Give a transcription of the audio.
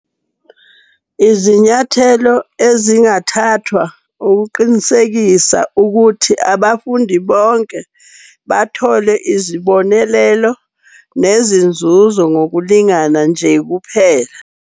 Izinyathelo ezingathathwa ukuqinisekisa ukuthi abafundi bonke bathole izibonelelo nezinzuzo ngokulingana nje kuphela.